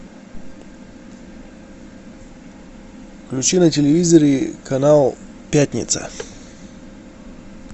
включи на телевизоре канал пятница